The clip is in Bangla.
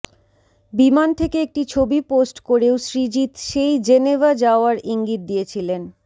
বিমান থেকে একটি ছবি পোস্ট করেও সৃজিত সেই জেনেভা যাওয়ার ইঙ্গিত দিয়েছিলেন